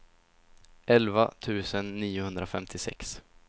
elva tusen niohundrafemtiosex